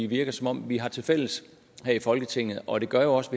virker som om vi har tilfælles her i folketinget og det gør jo også